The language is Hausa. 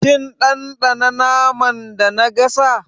Kin ɗanɗana naman da na gasa?